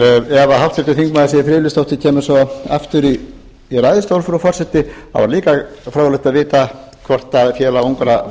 ef háttvirtur þingmaður siv friðleifsdóttir kemur svo aftur í ræðustól frú forseti væri líka fróðlegt að vita hvort félag ungra